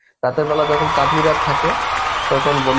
রাতের বেলা যখন চাঁদনী রাত থাকে, তখন বন্ধু